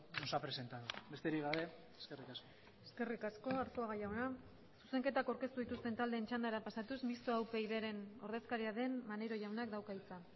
nos ha presentado besterik gabe eskerrik asko eskerrik asko arzuaga jauna zuzenketak aurkeztu dituzten taldeen txandara pasatuz mistoa upydren ordezkaria den maneiro jaunak dauka hitza